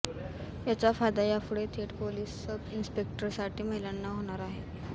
याचा फायदा यापुढे थेट पोलीस सब इनिस्पेकटरसाठी महिलांना होणार आहे